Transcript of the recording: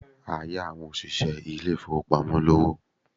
A yá àwọn òṣìṣẹ́ ilé ìfowópamọ́ lówó.